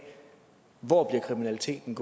hvor kriminaliteten